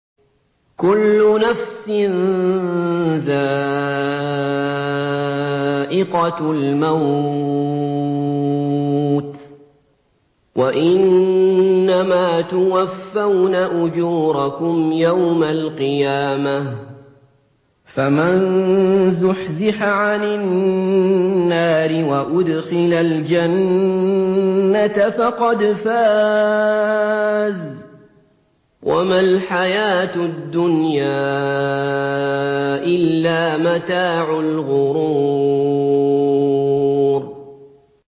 كُلُّ نَفْسٍ ذَائِقَةُ الْمَوْتِ ۗ وَإِنَّمَا تُوَفَّوْنَ أُجُورَكُمْ يَوْمَ الْقِيَامَةِ ۖ فَمَن زُحْزِحَ عَنِ النَّارِ وَأُدْخِلَ الْجَنَّةَ فَقَدْ فَازَ ۗ وَمَا الْحَيَاةُ الدُّنْيَا إِلَّا مَتَاعُ الْغُرُورِ